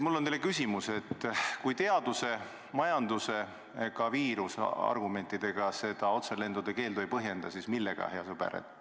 Mul on teile küsimus: kui teaduse, majanduse ega viiruse argumentidega otselendude keeldu ei põhjenda, siis millega, hea sõber?